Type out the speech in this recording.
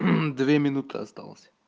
минуты осталось